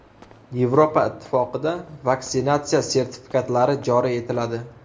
Yevropa Ittifoqida vaksinatsiya sertifikatlari joriy etiladi.